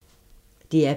DR P2